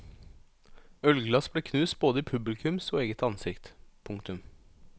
Ølglass ble knust både i publikums og eget ansikt. punktum